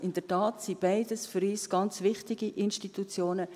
In der Tat sind beide für uns ganz wichtige Institutionen.